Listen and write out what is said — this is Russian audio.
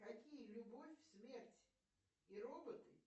какие любовь смерть и роботы